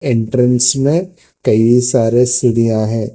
Entrance में कई सारे सिढिया हैं।